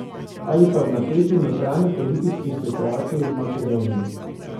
Ali pa v napeti notranjepolitični situaciji v Makedoniji.